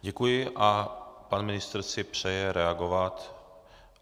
Děkuji a pan ministr si přeje reagovat.